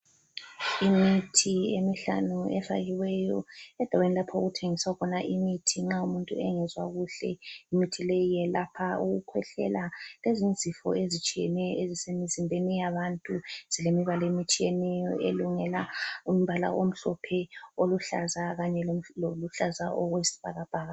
Imithi emihlanu efakiweyo endaweni lapho okuthengiswa khona imithi nxa umuntu engezwa kuhle. Imithi leyi yelapha ukukhwehlela ezinye izifo ezitshiyeneyo ezisemzimbeni yabantu. Zilemibala emitshiyeneyo elungela umbala omhlophe oluhlaza kanye loluhlaza okwesibhakabhaka.